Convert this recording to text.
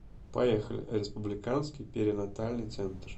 поехали республиканский перинатальный центр